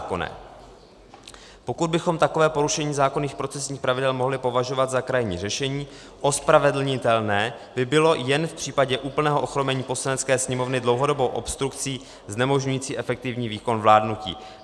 Pokud bychom takové porušení zákonných procesních pravidel mohli považovat za krajní řešení, ospravedlnitelné by bylo jen v případě úplného ochromení Poslanecké sněmovny dlouhodobou obstrukcí znemožňující efektivní výkon vládnutí.